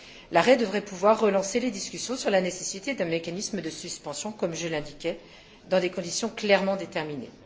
L'arrêt devrait pouvoir relancer les discussions sur la nécessité d'un mécanisme de suspension, comme je l'indiquais, dans des conditions clairement déterminées.